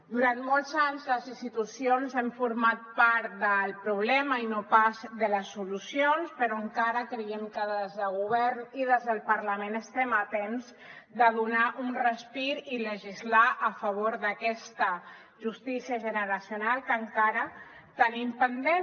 durant molts anys les institucions hem format part del problema i no pas de les solucions però encara creiem que des del govern i des del parlament estem a temps de donar un respir i legislar a favor d’aquesta justícia generacional que encara tenim pendent